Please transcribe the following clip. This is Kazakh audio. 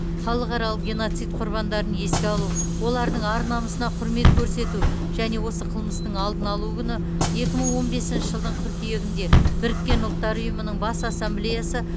халықаралық геноцид құрбандарын еске алу олардың ар намысына құрмет көрсету және осы қылмыстың алдын алу күні екі мың он бесінші жылдың қыркүйегінде біріккен ұлттар ұйымының бас ассамблеясы